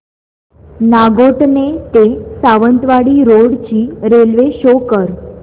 नागोठणे ते सावंतवाडी रोड ची railway show कर